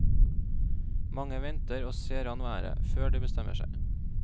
Mange venter og ser an været, før de bestemmer seg.